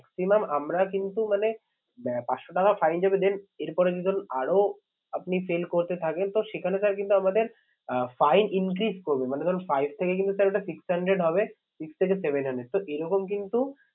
Maximum আমরা কিন্তু মানে আহ পাঁচশো টাকা fine যাবে then এর পরেতে ধরুন আরো আপনি fail করতে থাকেন তো সেখানে sir কিন্তু আমাদের আহ fine increase করবে মানে ধরুন five থেকে কিন্তু sir ওটা six hundred হবে six থেকে seven hundred sir এরকম কিন্তু